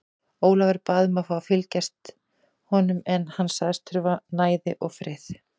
Ólafur bað um að fá að fylgja honum en hann sagðist þurfa næði og frið.